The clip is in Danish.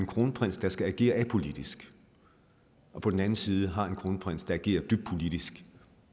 kronprins der skal agere apolitisk og på den anden side har en kronprins der agerer dybt politisk